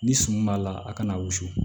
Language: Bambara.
Ni sun b'a la a kana wusu